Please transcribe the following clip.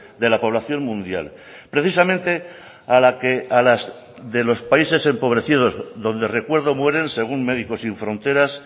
de la población mundial precisamente a la que de los países empobrecidos donde recuerdo mueren según médicos sin fronteras